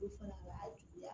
fana b'a juguya